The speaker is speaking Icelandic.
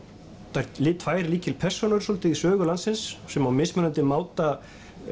þær tvær lykilpersónur svolítið í sögu landsins sem á mismunandi máta